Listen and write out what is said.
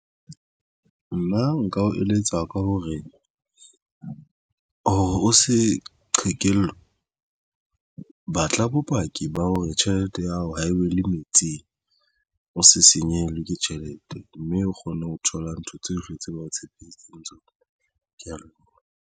Nna nka o eletsa ka hore o se qhekellwe. Batla bopaki ba hore tjhelete ya hao ha e be le metsingvo se senyehelwe ke tjhelete mme o kgone ho thola ntho tsohle tse ba o tshepisitseng tsona. Ke ya leboha.